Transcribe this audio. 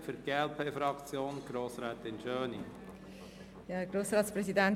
Für die glp-Fraktion hat Grossrätin Schöni das Wort.